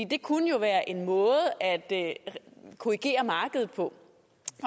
det kunne jo være en måde at korrigere markedet på